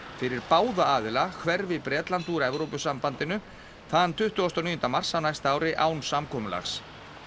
fyrir báða aðila hverfi Bretland úr Evrópusambandinu þann tuttugasta og níunda mars á næsta ári án samkomulags